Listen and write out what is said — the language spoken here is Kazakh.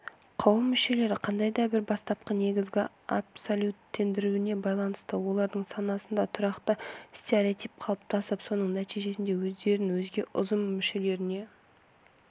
қауым мүшелері қандайда да бір бастапқы негізді абсолюттендіруіне байланысты олардың санасында тұрақты стереотип қалыптасып соның нәтижесінде өздерін өзге ұжым мүшелеріне